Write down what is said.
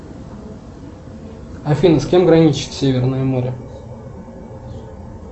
афина с кем граничит северное море